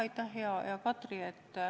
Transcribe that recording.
Aitäh, hea Katri!